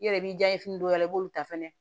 I yɛrɛ b'i jan ye fini dɔw la i b'olu ta fɛnɛ